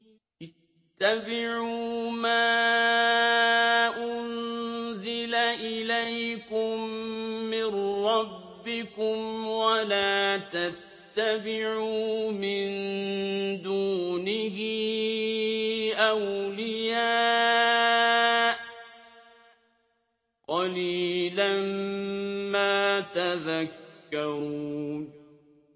اتَّبِعُوا مَا أُنزِلَ إِلَيْكُم مِّن رَّبِّكُمْ وَلَا تَتَّبِعُوا مِن دُونِهِ أَوْلِيَاءَ ۗ قَلِيلًا مَّا تَذَكَّرُونَ